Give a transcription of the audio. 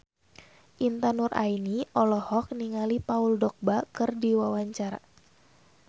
Intan Nuraini olohok ningali Paul Dogba keur diwawancara